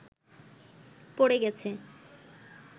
পড়ে গেছে